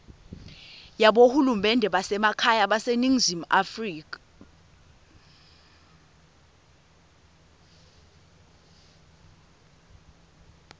yabohulumende basekhaya baseningizimu